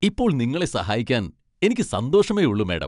ഇപ്പോൾ നിങ്ങളെ സഹായിക്കാൻ എനിക്ക് സന്തോഷമേ ഉള്ളു, മാഡം.